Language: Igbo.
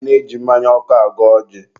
a na-eji mmanya ọkụ agọ ọjị.